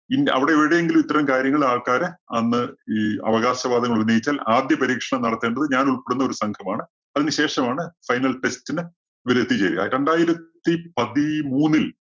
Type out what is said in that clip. അവിടെ എവിടെയെങ്കിലും ഇത്തരം കാര്യങ്ങള്‍ ആൾക്കാര് വന്ന് ഈ അവകാശവാദങ്ങള്‍ ഉന്നയിച്ചാൽ ആദ്യ പരീക്ഷണം നടത്തേണ്ടത് ഞാൻ ഉൾപ്പെടുന്ന ഒരു സംഘം ആണ്. അതിനുശേഷം ആണ് final test ന് ഇവര് എത്തിച്ചേരുക. രണ്ടായിരത്തി പതിമൂന്നില്‍